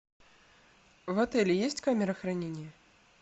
в отеле есть камера хранения